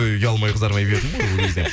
ұялмай қызармай бердім ғой ол кезде